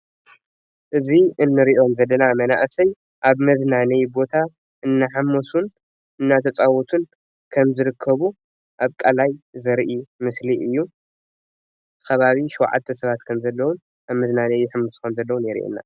እዚ እንሪኦም ዘለና መናእሰይ ኣብ መዝናነይ ቦታ እናሓመሱን እናተፃወቱን ከም ዝርከቡ ኣብ ቃላይ ዘርኢ ምስሊ እዩ ከባቢ 7 ሰባት ከም ዘለው ኣብ መዝናነይ ይሕምሱ ከም ዘለዉን የርእየና፡፡